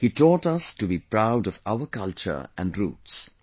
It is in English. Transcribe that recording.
He taught us to be proud of our culture and roots